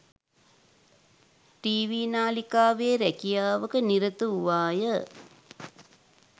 TV නාලිකාවේ රැකියාවක නිරත වූවාය